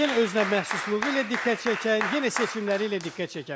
Yenə özünəməxsusluğu ilə diqqət çəkən, yenə seçimləri ilə diqqət çəkən.